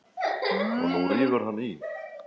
Og nú rífur hann í.